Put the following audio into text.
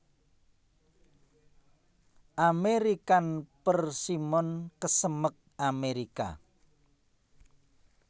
American Persimmon kesemek Amérika